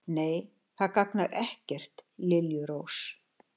Nei, það gagnar ekkert, liljurós.